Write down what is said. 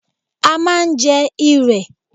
A máa ń jẹ́ Irẹ̀.